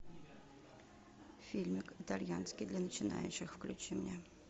фильмик итальянский для начинающих включи мне